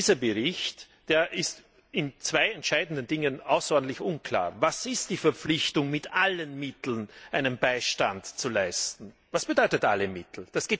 Dieser Bericht ist in zwei entscheidenden Dingen außerordentlich unklar Was ist die Verpflichtung, mit allen Mitteln Beistand zu leisten? Was bedeutet alle Mittel?